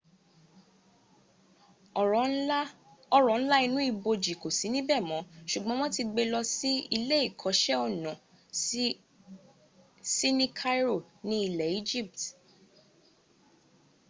ọrọ̀ ńlá inú ibojì kò sí níbẹ̀ mọ́ sùgbọ́n wọ́n ti gbe lọ sí ilé ìkó iṣẹ́ ọnà sí ni cairo ní ilẹ̀ egypt